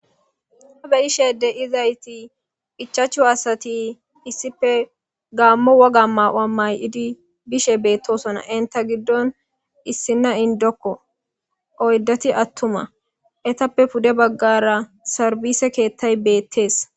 Ha be ishede izayti hichachu asati issife gaammo woga ma wammay7idi bishe beettosona inta giddon issinna indokko oyddati attuma etappe pude baggara sarbise keettay beettees.